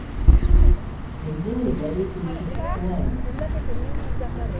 эльдаре борисовиче хване